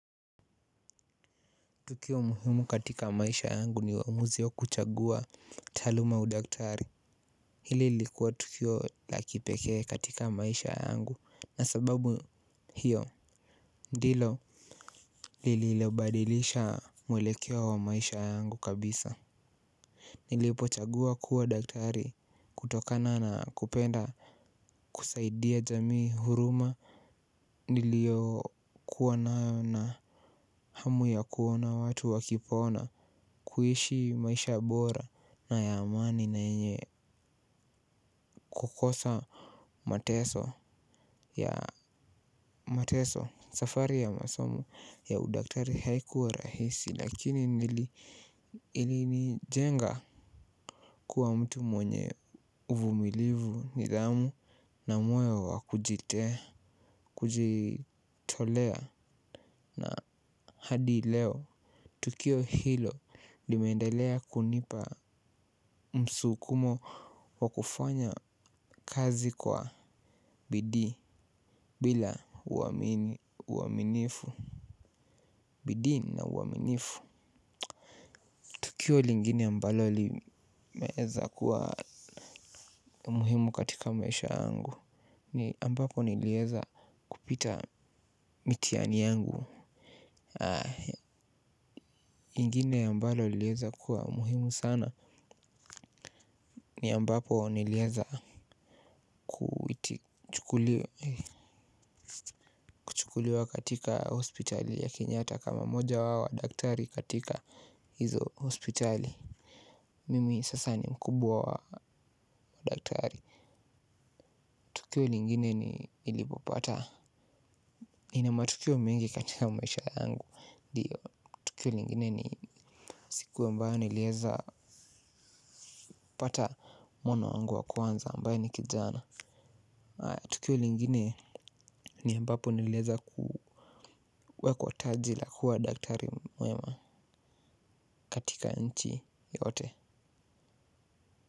Tukio muhimu katika maisha yangu ni uamuzi wa kuchagua taaluma udaktari. Hili lilikuwa tukio la kipekee katika maisha yangu na sababu hiyo ndilo lili lobadilisha mwelekeo wa maisha yangu kabisa. Nilipo chagua kuwa daktari kutokana na kupenda kusaidia jamii huruma. Nilio kuwa nayo na hamu ya kuona watu wakipona kuishi maisha bora na ya amani na yenye kukosa. Mateso ya mateso safari ya masomo ya udaktari haiku wa rahisi lakini ilinijenga kuwa mtu mwenye uvumilivu nidhamu. Na moyo wa kujitea kujitolea na hadi leo tukio hilo limeendelea kunipa msukumo wa kufanya kazi kwa bidii bila uaminifu. Bidii na uaminifu. Tukio lingine ambalo limeweza kuwa muhimu katika maisha yangu. Ni ambapo niliweza kupita mitihani yangu. Lingine ambalo liliweza kuwa muhimu sana. Ni ambapo niliweza kuiti chukuliwa katika hospitali ya Kenyatta kama moja wa daktari katika hizo hospitali. Mimi sasa ni mkubwa wa daktari. Tukio lingine ni nilipopata nina matukio mengi katika maisha yangu. Tukio lingine ni siku ambao niliweza pata mwana wangu wa kwanza ambaye ni kijana. Tukio lingine ni ambapo niliweza kuwa kwa taji la kuwa daktari mwema katika nchi yote.